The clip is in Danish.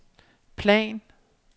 plan